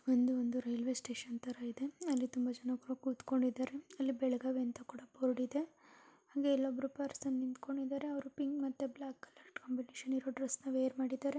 ಒಂದು ಒಂದು railway station ತರ ಇದೆ ಇಲ್ಲಿ ತುಂಬಾ ಜನ ಕೂತ್ಕೊಂಡಿದ್ದಾರೆ ಅಲ್ಲಿ ಬೆಳಗಾವಿ ಅಂತ ಬೋರ್ಡ್ ಇದೆ ಹಾಗೆ ಇಲ್ಲೊಬ್ಬರು ಪರ್ಸನ್ ನಿಂತ್ಕೊಂಡಿದ್ದಾರೆ ಹಾಗೆ ಅವರುಪಿಂಕ್ ಮತ್ತು ಬ್ಲಾಕ್ ಕಾಂಬಿನೇಷನ್ ಇರುವ ಡ್ರೆಸ್ ಅನ್ನು ವೇರ್ ಮಾಡಿದರೆ --